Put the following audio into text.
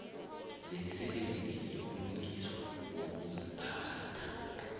zemisebenzi yokulungiswa kokuziphatha